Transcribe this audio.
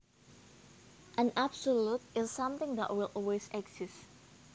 An absolute is something that will always exist